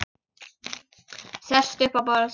Sest upp á borð.